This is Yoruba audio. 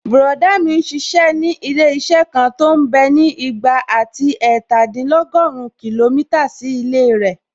Bùrọ̀dá mi n ṣiṣẹ́ ní ilé-iṣẹ́ kan tó mbẹ́ ní ìgbà àti ẹ̀ẹ̀tàdínlọ́gùrún kìlómítà sí ilé rẹ̀